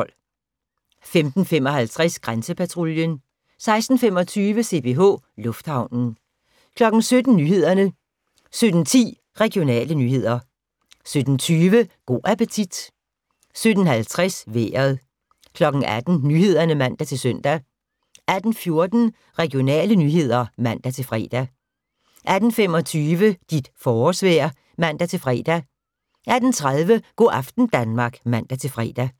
15:55: Grænsepatruljen 16:25: CPH Lufthavnen 17:00: Nyhederne 17:10: Regionale nyheder 17:20: Go' appetit 17:50: Vejret 18:00: Nyhederne (man-søn) 18:14: Regionale nyheder (man-fre) 18:25: Dit forårsvejr (man-fre) 18:30: Go' aften Danmark (man-fre)